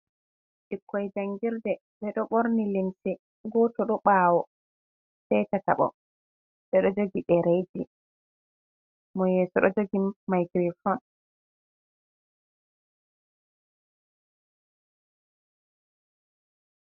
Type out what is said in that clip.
Ɓukkoi njangirde ɓe ɗo ɓorni limse, goto ɗo ɓawo, sai tetaɓo, ɓe ɗo jogi ɗereji, mo yeso ɗo jogi microphone.